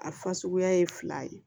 A fasuguya ye fila ye